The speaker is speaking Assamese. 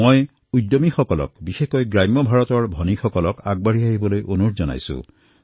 মই উদ্যমীসকলক বিশেষকৈ গ্ৰামীণ ভাৰতত বসবাস কৰা ভগ্নীসকলক আগবাঢ়ি আহিবলৈ আহ্বান জনাইছোঁ